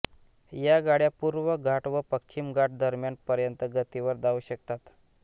या गाड्या पूर्व घाट व पश्चिम घाट दरम्यान पर्यंत गतीवर धावू शकतात